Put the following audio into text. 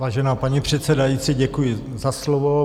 Vážená paní předsedající, děkuji za slovo.